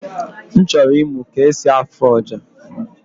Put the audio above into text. M chọrọ ịmụ ka esi afụ ọja